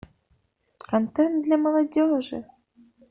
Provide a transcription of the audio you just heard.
контент для молодежи